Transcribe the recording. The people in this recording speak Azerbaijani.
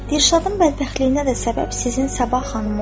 Dilşadın bədbəxtliyinə də səbəb sizin Səbah xanım oldu.